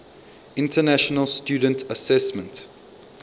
international student assessment